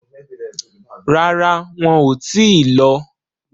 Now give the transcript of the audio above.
Rárá, wọn ò tíì lọ.